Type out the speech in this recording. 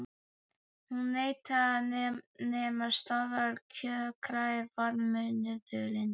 Hún neitaði að nema staðar kjökraði varðmaðurinn.